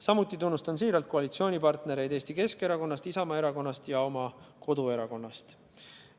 Samuti tunnustan siiralt koalitsioonipartnereid Eesti Keskerakonnast, Isamaa Erakonnast ja oma koduerakonnast.